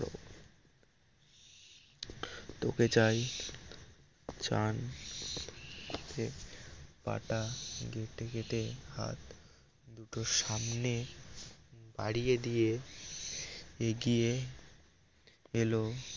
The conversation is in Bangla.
তোকে চাই চান পাটা হাত তোর সামনে বাড়িয়ে দিয়ে এগিয়ে এলো